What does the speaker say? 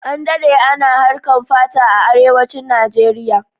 An dade ana harkan fata a arewancin Nijeriya